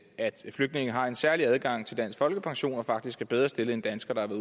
flygtninge har en særlig adgang til dansk folkepension og faktisk er bedre stillet end danskere der